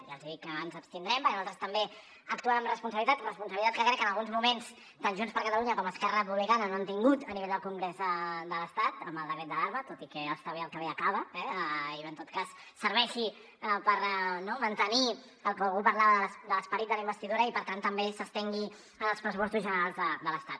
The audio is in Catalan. ja els he dit que ens abstindrem perquè nosaltres també actuem amb responsabilitat responsabilitat que crec que en alguns moments tant junts per catalunya com esquerra republicana no han tingut a nivell del congrés de l’estat amb el decret d’alarma tot i que està bé el que acaba i en tot cas serveixi no per mantenir el que algú parlava de l’esperit de la investidura i per tant també s’estengui als pressupostos generals de l’estat